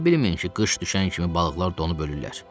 Elə bilməyin ki, qış düşən kimi balıqlar donub ölürlər.